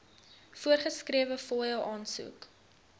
voorgeskrewe fooie aansoek